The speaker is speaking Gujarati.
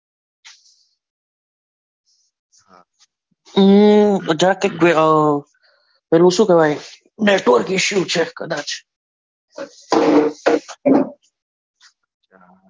પેલું શું કહેવાય network issue છે કદાચ